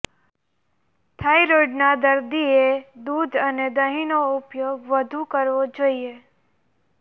થાઇરોઇડના દર્દીએ દૂધ અને દહીંનો ઉપયોગ વધુ કરવો જોઈએ